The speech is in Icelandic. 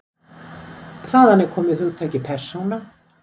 Þaðan er komið hugtakið persóna.